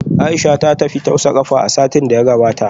Aisha ta tafi tausa kafa a satin da ya gabata